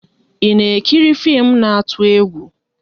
I na ekiri fim na atụ-egwú?